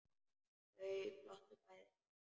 Þau glottu bæði.